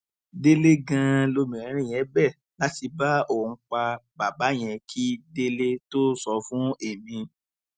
délé ganan lobìnrin yẹn bẹ láti bá òun pa bàbá yẹn kí délé tóó sọ fún èmi